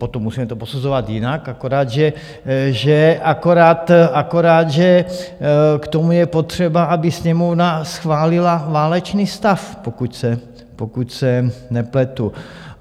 Potom musíme to posuzovat jinak, akorát že k tomu je potřeba, aby Sněmovna schválila válečný stav, pokud se nepletu.